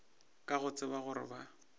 ka go tseba gore ba